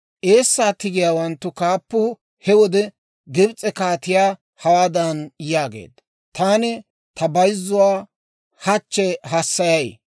Eessaa tigiyaawanttu kaappuu he wode Gibs'e kaatiyaa hawaadan yaageedda; «Taani ta bayzzuwaa hachche hassayay.